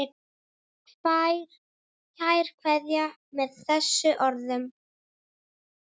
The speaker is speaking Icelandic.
Kær kveðja með þessum orðum.